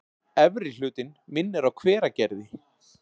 Efri hlutinn minnir á Hveragerði.